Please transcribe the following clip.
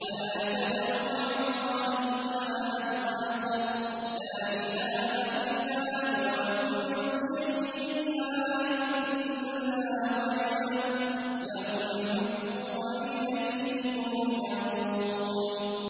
وَلَا تَدْعُ مَعَ اللَّهِ إِلَٰهًا آخَرَ ۘ لَا إِلَٰهَ إِلَّا هُوَ ۚ كُلُّ شَيْءٍ هَالِكٌ إِلَّا وَجْهَهُ ۚ لَهُ الْحُكْمُ وَإِلَيْهِ تُرْجَعُونَ